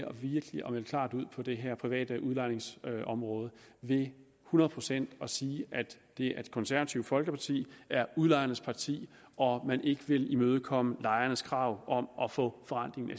virkelig at melde klart ud på det her private udlejningsområde ved hundrede procent at sige at det konservative folkeparti er udlejernes parti og at man ikke vil imødekomme lejernes krav om at få forrentningen af